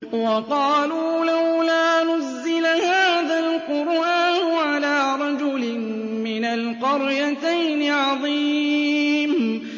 وَقَالُوا لَوْلَا نُزِّلَ هَٰذَا الْقُرْآنُ عَلَىٰ رَجُلٍ مِّنَ الْقَرْيَتَيْنِ عَظِيمٍ